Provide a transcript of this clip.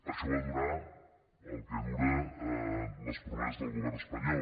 això va durar el que duren les promeses del govern espanyol